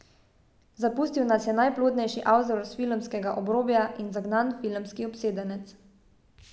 Zapustil nas je najplodnejši avtor s filmskega obrobja in zagnan filmski obsedenec.